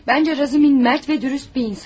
Bence Razumin Mert ve dürüst bir insan.